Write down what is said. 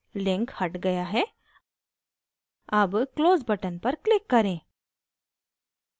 link the गया है अब close button पर click करें